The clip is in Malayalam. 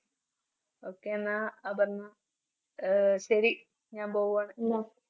okay എന്ന അപർണ ആഹ് ശരി ഞാൻ പോവാണ്.